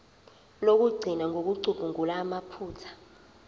lokugcina ngokucubungula amaphutha